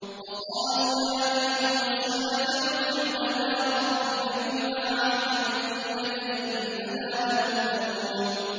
وَقَالُوا يَا أَيُّهَ السَّاحِرُ ادْعُ لَنَا رَبَّكَ بِمَا عَهِدَ عِندَكَ إِنَّنَا لَمُهْتَدُونَ